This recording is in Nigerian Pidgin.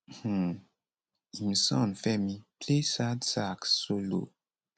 um im son femi play sad sax solo